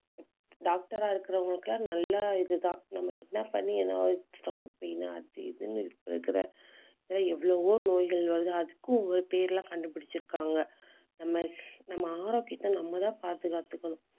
doctor ஆ இருக்கிறவங்களுக்கு எல்லாம் நல்ல இதுதான். நம்ம என்ன பண்ணி ஏதாவது stomach pain அது இதுன்னு இப்ப இருக்கிற எவ்வளவோ நோய்கள் வருது. அதுக்கும் ஒவ்வொரு பேருல கண்டுபிடிச்சிருக்காங்க. நம்ம நம்ம ஆரோக்கியத்தை நம்மதான் பாதுகாத்துக்கணும்